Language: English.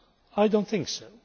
I do not think so.